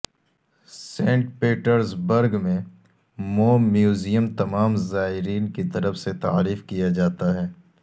Saint Petersburg میں موم museum تمام زائرین کی طرف سے تعریف کیا جاتا ہے